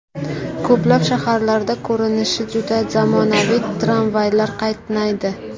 Ko‘plab shaharlarda ko‘rinishi juda zamonaviy tramvaylar qatnaydi.